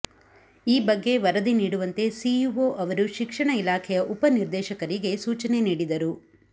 ಈ ಬಗ್ಗೆ ವರದಿ ನೀಡುವಂತೆ ಸಿಇಒ ಅವರು ಶಿಕ್ಷಣ ಇಲಾಖೆಯ ಉಪನಿರ್ದೇಶಕರಿಗೆ ಸೂಚನೆ ನೀಡಿದರು